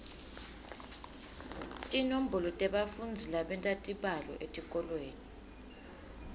tinombolo tebafundzi labenta tibalo etikolweni